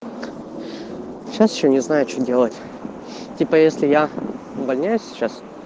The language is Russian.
сейчас ещё не знаю что делать типа если я увольняюсь сейчас